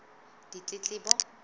ditletlebo